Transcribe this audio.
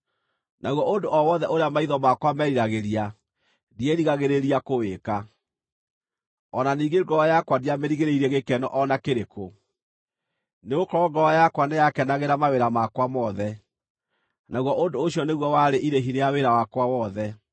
Naguo ũndũ o wothe ũrĩa maitho makwa meriragĩria ndierigagĩrĩria kũwĩka; o na ningĩ ngoro yakwa ndiamĩrigĩrĩirie gĩkeno o na kĩrĩkũ. Nĩgũkorwo ngoro yakwa nĩyakenagĩra mawĩra makwa mothe, naguo ũndũ ũcio nĩguo warĩ irĩhi rĩa wĩra wakwa wothe.